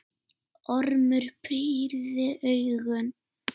Ormur pírði augun.